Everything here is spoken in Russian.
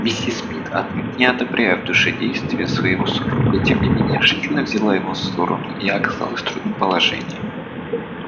миссис мид отнюдь не одобряя в душе действий своего супруга тем не менее решительно взяла его сторону и оказалась в трудном положении